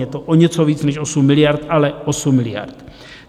Je to o něco víc než 8 miliard, ale 8 miliard.